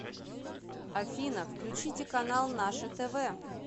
афина включите канал наше тв